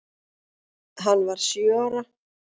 Hann var sjö ára.